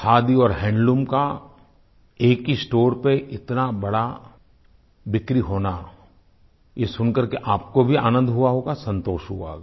खादी और हैंडलूम का एक ही स्टोर पर इतना बड़ा बिक्री होना ये सुन करके आपको भी आनंद हुआ होगा संतोष हुआ होगा